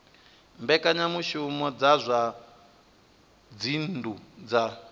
mbekanyamushumo dza zwa dzinnu dza